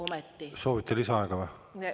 Kas soovite lisaaega?